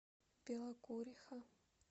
белокуриха